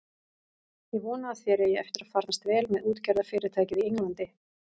Ég vona að þér eigi eftir að farnast vel með útgerðarfyrirtækið í Englandi.